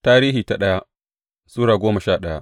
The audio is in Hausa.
daya Tarihi Sura goma sha daya